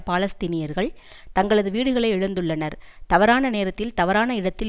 பாலஸ்தீனியர்கள் தங்களது வீடுகளை இழந்துள்ளனர் தவறான நேரத்தில் தவறான இடத்தில்